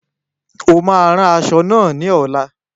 O máa ran aṣọ náà lóla